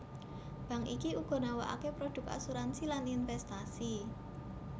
Bank iki uga nawakake produk asuransi lan investasi